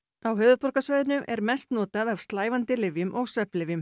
á höfuðborgarsvæðinu er mest notað af slævandi lyfjum og svefnlyfjum